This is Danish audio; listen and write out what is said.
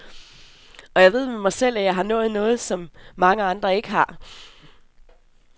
Og jeg ved med mig selv, at jeg har nået noget, som mange andre ikke har.